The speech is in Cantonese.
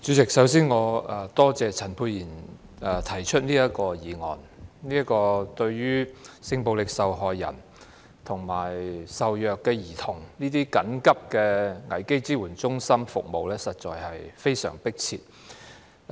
代理主席，首先，我感謝陳沛然議員提出這項議案，性暴力受害人及受虐兒童危機支援中心所提供的服務實在非常迫切。